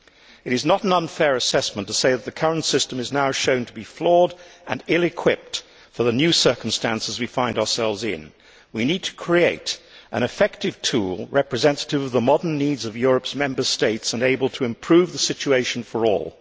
It is not an unfair assessment to say that the current system is now shown to be flawed and ill equipped for the new circumstances we find ourselves in. We need to create an effective tool representative of the modern needs of Europe's Member States and able to improve the situation for all.